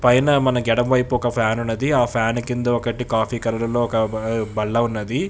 పైన మన ఎడం వైపు ఒక ఫ్యాన్ ఉన్నది కాఫీ కలర్ లో ఒక దుపట్టా ఉన్నది.